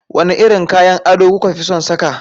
Wane irin kayan ado kuka fi son saka?